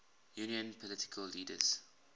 union political leaders